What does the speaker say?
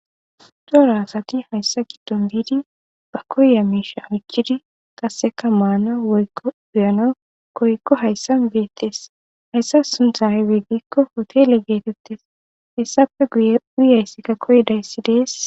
daro asati hayssa giddon biidi ba koyiya miisha oykid qasseka maana woykko gluyana koykko hayssa beettes hayssa sunthay hotele geetettes hessape guye uyayssikka koydayssi dees